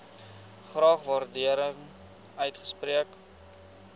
graag waardering uitspreek